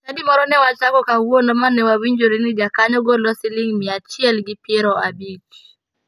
Chadi moro ne wachako kawuono ma ne wawinjore ni jakanyo golo siling mia achiel gi piero abich.